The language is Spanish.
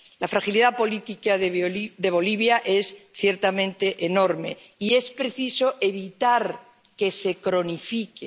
La fragilidad política de Bolivia es ciertamente enorme y es preciso evitar que se cronifique.